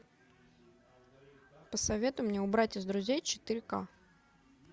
посоветуй мне убрать из друзей четыре к